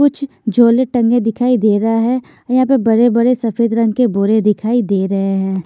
कुछ झोले टंगे दिखाई दे रहा है यहां पे बड़े-बड़ेसफेद रंग केबोरे दिखाई दे रहे हैं।